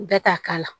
Bɛɛ t'a k'a la